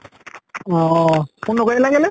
অহ। phone নকৰিলা কেলে?